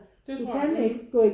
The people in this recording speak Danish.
Det tror jeg